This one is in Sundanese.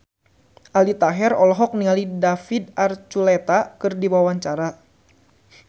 Aldi Taher olohok ningali David Archuletta keur diwawancara